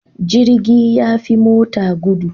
Jirgi yafi mota gudu